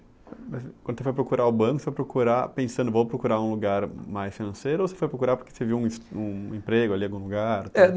Quando tu foi procurar o banco, foi procurar pensando vou procurar um lugar mais financeiro ou você foi procurar porque você viu um es um emprego ali em algum lugar? É